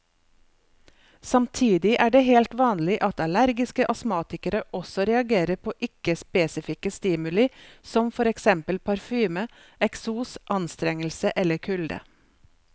Samtidig er det helt vanlig at allergiske astmatikere også reagerer på ikke spesifikke stimuli som for eksempel parfyme, eksos, anstrengelse eller kulde.